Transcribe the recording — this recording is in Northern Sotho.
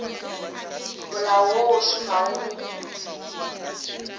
molao wo o šomago go